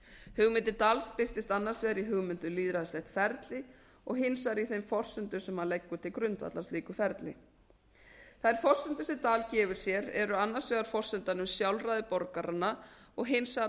hugmynd dahls birtist annars vegar í hugmynd um lýðræðislegt ferli og hins vegar í þeim forsendum sem hann leggur til grundvallar slíku ferli þær forsendur sem dahl gefur sér eru annars vegar forsenda um sjálfræði borgaranna og hins